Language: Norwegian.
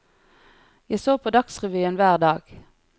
Jeg så på dagsrevyen hver dag.